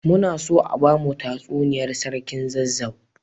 Muna so a bamu tsuniyar sarkin zazzau